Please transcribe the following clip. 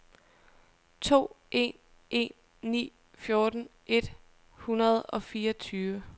to en en ni fjorten et hundrede og fireogtyve